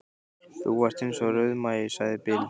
Þú varst eins og rauðmagi, sagði Bill.